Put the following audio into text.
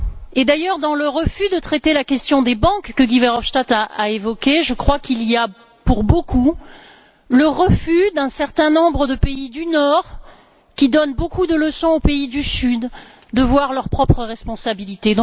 Et d'ailleurs dans le refus de traiter la question des banques, que Guy Verhofstadt a évoqué, je crois qu'il y a, pour beaucoup, le refus d'un certain nombre de pays du Nord, qui donnent beaucoup de leçons aux pays du Sud, de voir leurs propres responsabilités.